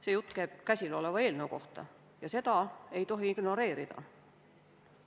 See jutt käib käsiloleva eelnõu kohta ja seda ei tohi ignoreerida.